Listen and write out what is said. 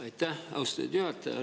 Aitäh, austatud juhataja!